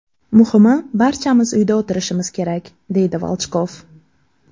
Muhimi, barchamiz uyda o‘tirishimiz kerak”, deydi Volchkov.